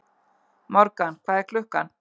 Morgan, hvað er klukkan?